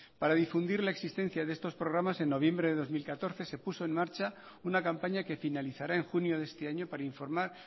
para difundir la existencia de estos programas en noviembre del dos mil catorce se puso en marcha una campaña que finalizará en junio de este año para informar